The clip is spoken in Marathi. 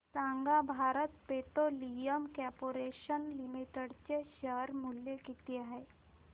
सांगा भारत पेट्रोलियम कॉर्पोरेशन लिमिटेड चे शेअर मूल्य किती आहे